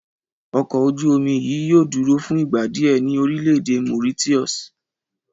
Ọkọ̀ ojú-omi yìí yóò dúró fún ìgbà díẹ̀ ní orílẹ̀ èdè Mauritius